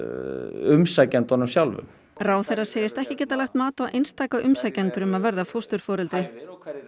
umsækjendunum sjálfum ráðherra segist ekki geta lagt mat á einstaka umsækjendur um að verða fósturforeldri